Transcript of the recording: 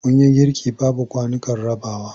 Mun yi girki babu kwanukan rabawa.